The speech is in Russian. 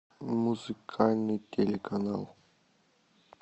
музыкальный телеканал